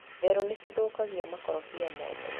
Therũ nĩ ciathũkia makorobia mothe.